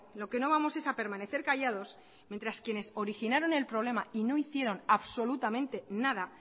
lo que no vamos es a permanecer callados mientras quienes originaron el problema y no hicieron absolutamente nada